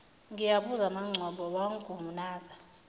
ngiyabuza mangcobo wangunaza